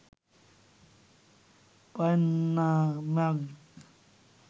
পাইন্না ম্যাগ